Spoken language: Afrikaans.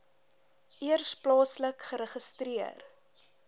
eers plaaslik geregistreer